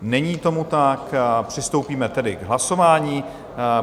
Není tomu tak, přistoupíme tedy k hlasování.